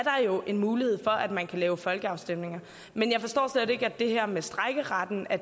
jo en mulighed for at man kan lave folkeafstemninger men jeg forstår slet ikke at det her med strejkeretten er